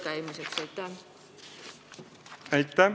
Aitäh!